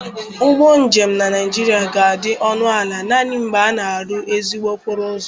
Ụgbọ njem na Naịjiria ga-adị ọnụ ala naanị mgbe a na-arụ ezigbo okporo ụzọ.